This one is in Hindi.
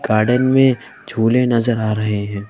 गार्डन में झूले नजर आ रहे हैं।